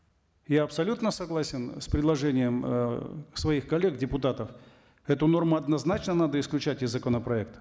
я абсолютно согласен с предложением э своих коллег депутатов эту норму однозначно надо исключать из законопроекта